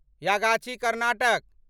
Yagachi Karnataka